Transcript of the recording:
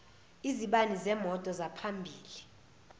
izibani zemoto zaphambili